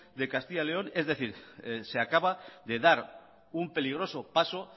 de castilla león es decir se acaba de dar un peligroso paso